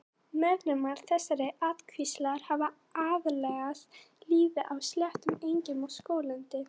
Meðlimir þessarar ættkvíslar hafa aðlagast lífi á sléttum, engjum og skóglendi.